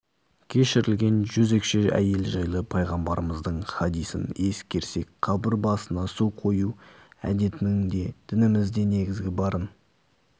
кешірілген жезөкше әйел жайлы пайғамбарымыздың хадисін ескерсек қабір басына су қою әдетінің де дінімізде негізі барын